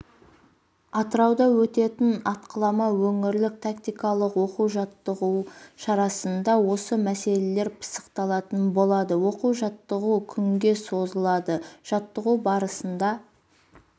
атырауда өтетін атқылама өңірлік тактикалық оқу-жаттығу шарасында осы мәселелер пысықталатын болады оқу-жаттығу күнге созылады жаттығу барысында